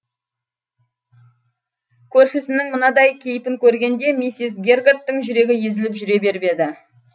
көршісінің мынадай кейпін көргенде миссис гергарттың жүрегі езіліп жүре беріп еді